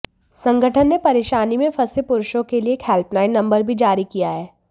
संगठन ने परेशानी में फंसे पुरुषों के लिए एक हेल्पलाइन नंबर भी जारी किया है